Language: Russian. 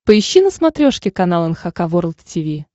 поищи на смотрешке канал эн эйч кей волд ти ви